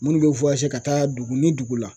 Minnu bɛ ka taa dugu ni dugu la.